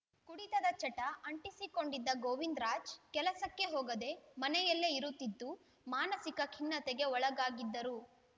ಕುಡಿತದ ಚಟ ಅಂಟಿಸಿಕೊಂಡಿದ್ದ ಗೋವಿಂದರಾಜ್ ಕೆಲಸಕ್ಕೆ ಹೋಗದೆ ಮನೆಯಲ್ಲೇ ಇರುತ್ತಿದ್ದು ಮಾನಸಿಕ ಖಿನ್ನತೆಗೆ ಒಳಗಾಗಿದ್ದರು